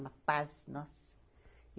Uma paz nossa.